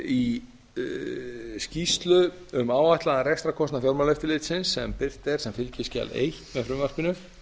í skýrslu um áætlaðan rekstrarkostnað fjármálaeftirlitsins sem birt er sem fylgiskjal eins með frumvarpinu